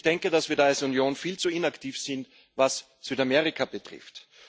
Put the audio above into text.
Ich denke, dass wir als Union viel zu inaktiv sind, was Südamerika betrifft.